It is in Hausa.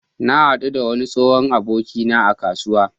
Na haɗu da wani tsohon abokina a kasuwa.